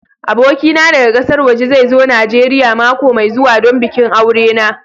Abokina daga ƙasar waje zai zo Najeriya mako mai zuwa don bikin aure na.